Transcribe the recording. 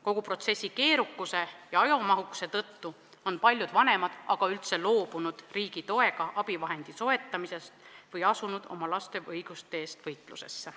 Kogu protsessi keerukuse ja ajamahukuse tõttu on paljud vanemad aga üldse loobunud riigi toega abivahendi soetamisest või on asunud oma laste õiguste eest võitlusesse.